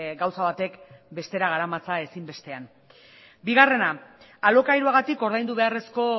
gauza batek bestera garamatza ezin bestean bigarrena alokairuagatik ordaindu beharrezko